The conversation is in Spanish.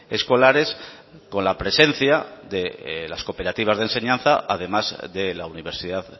escolares con la presencia de las cooperativas de enseñanza además de la universidad